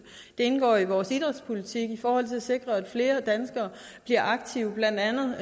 indgår i vores idrætspolitik for at sikre at flere danskere bliver aktive i blandt andet